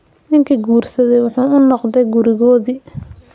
Ninkii guursaday wuxuu ku noqday gurigoodii.